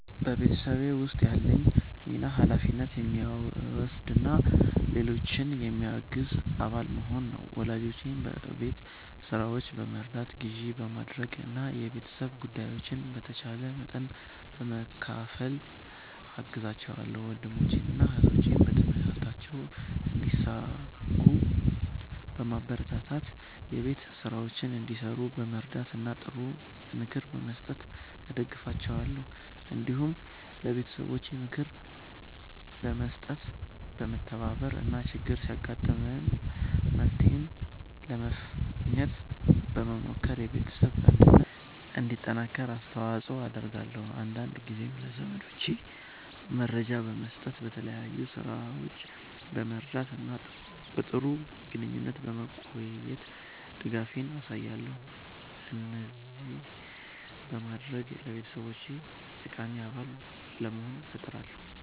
በቤተሰቤ ውስጥ ያለኝ ሚና ኃላፊነት የሚወስድ እና ሌሎችን የሚያግዝ አባል መሆን ነው። ወላጆቼን በቤት ሥራዎች በመርዳት፣ ግዢ በማድረግ እና የቤተሰብ ጉዳዮችን በተቻለ መጠን በመካፈል እገዛቸዋለሁ። ወንድሞቼንና እህቶቼን በትምህርታቸው እንዲሳኩ በማበረታታት፣ የቤት ሥራቸውን እንዲሠሩ በመርዳት እና ጥሩ ምክር በመስጠት እደግፋቸዋለሁ። እንዲሁም ለቤተሰቤ ክብር በመስጠት፣ በመተባበር እና ችግር ሲያጋጥም መፍትሄ ለማግኘት በመሞከር የቤተሰብ አንድነት እንዲጠናከር አስተዋጽኦ አደርጋለሁ። አንዳንድ ጊዜም ለዘመዶቼ መረጃ በመስጠት፣ በተለያዩ ሥራዎች በመርዳት እና በጥሩ ግንኙነት በመቆየት ድጋፌን አሳያለሁ። እንደዚህ በማድረግ ለቤተሰቤ ጠቃሚ አባል ለመሆን እጥራለሁ።"